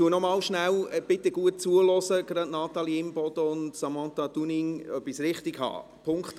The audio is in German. Imboden und Samantha Dunning, bitte hören Sie, gut zu, ob ich es richtig sage: